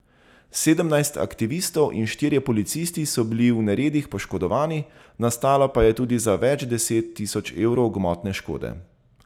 Sedemnajst aktivistov in štirje policisti so bili v neredih poškodovani, nastalo pa je tudi za več deset tisoč evrov gmotne škode.